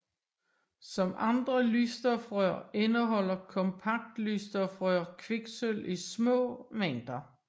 Som andre lysstofrør indeholder kompaktlysstofrør kviksølv i små mængder